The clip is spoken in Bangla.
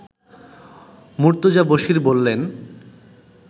মুর্তজা বশীর বললেন